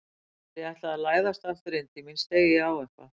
Þegar ég ætlaði að læðast aftur inn til mín steig ég á eitthvað.